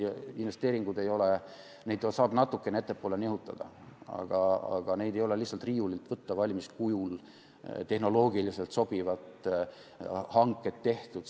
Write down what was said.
Investeeringuid saab natukene ettepoole nihutada, aga neid ei ole lihtsalt valmiskujul riiulilt võtta, et tehnoloogiliselt sobivad hanked oleks tehtud.